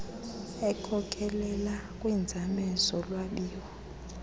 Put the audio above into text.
ekhokelela kwiinzame zolwabiwo